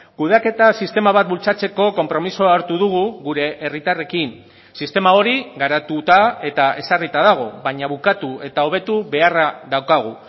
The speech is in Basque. kudeaketa sistema bat bultzatzeko konpromisoa hartu dugu gure herritarrekin sistema hori garatuta eta ezarrita dago baina bukatu eta hobetu beharra daukagu